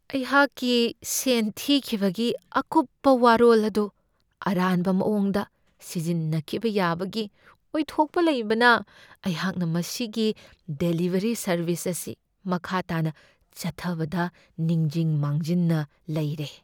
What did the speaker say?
ꯑꯩꯍꯥꯛꯀꯤ ꯁꯦꯟ ꯊꯤꯈꯤꯕꯒꯤ ꯑꯀꯨꯞꯄ ꯋꯥꯔꯣꯜ ꯑꯗꯨ ꯑꯔꯥꯟꯕ ꯃꯑꯣꯡꯗ ꯁꯤꯖꯤꯟꯅꯈꯤꯕ ꯌꯥꯕꯒꯤ ꯑꯣꯏꯊꯣꯛꯄ ꯂꯩꯕꯅ ꯑꯩꯍꯥꯛꯅ ꯃꯁꯤꯒꯤ ꯗꯦꯂꯤꯕꯔꯤ ꯁꯔꯕꯤꯁ ꯑꯁꯤ ꯃꯈꯥ ꯇꯥꯅ ꯆꯠꯊꯕꯗ ꯅꯤꯡꯖꯤꯡ ꯃꯥꯡꯖꯤꯟꯅ ꯂꯩꯔꯦ꯫